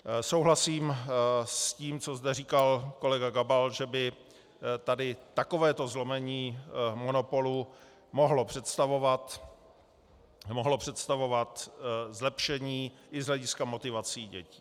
Souhlasím s tím, co zde říkal kolega Gabal, že by tady takovéto zlomení monopolu mohlo představovat zlepšení i z hlediska motivací dětí.